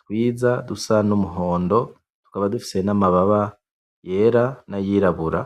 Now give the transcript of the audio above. twiza dusa n'umuhondo, tukaba dufise n'amababa yera na yiribura.